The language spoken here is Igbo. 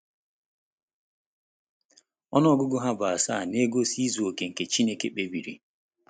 Ọnụ ọgụgụ ha bụ asaa na-egosi izu oke nke Chineke kpebiri.